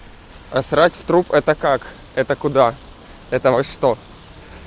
а срать в труп это как это куда это во что